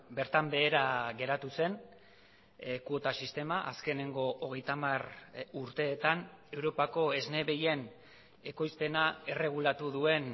bertan behera geratu zen kuota sistema azkeneko hogeita hamar urteetan europako esne behien ekoizpena erregulatu duen